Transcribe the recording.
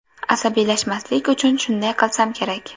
Asabiylashmaslik uchun shunday qilsam kerak.